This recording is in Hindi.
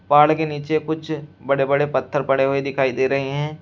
पहाड़ के नीचे कुछ बड़े बड़े पत्थर पड़े हुए दिखाई दे रहे हैं।